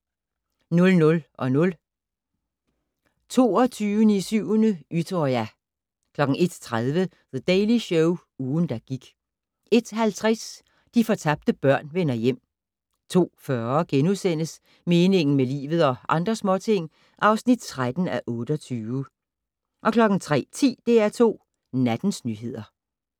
00:00: 22.07/Utøya 01:30: The Daily Show - ugen, der gik 01:50: De fortabte børn vender hjem 02:40: Meningen med livet - og andre småting (13:28)* 03:10: DR2 Nattens nyheder